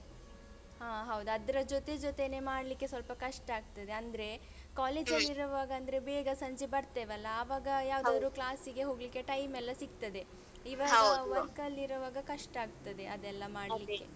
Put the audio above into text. ಹಾ ಹೌದು ಅದ್ರ ಜೊತೆ ಜೊತೆನೆ ಮಾಡ್ಲಿಕೆ ಸ್ವಲ್ಪ ಕಷ್ಟಾಗ್ತದೆ ಅಂದ್ರೆ ಕಾಲೇಜಲ್ಲಿ ಇರುವಾಗ ಅಂದ್ರೆ ಬೇಗ ಸಂಜೆ ಬರ್ತೇವೆಲ್ಲಾ ಯಾವದಾದ್ರು class ಇಗೆ ಹೋಗ್ಲಿಕೆ time ಎಲ್ಲ ಸಿಗ್ತದೆ. work ಅಲ್ಲಿ ಇರುವಾಗ ಕಷ್ಟಾಗ್ತದೆ ಅದೆಲ್ಲ ಮಾಡ್ಲಿಕೆ.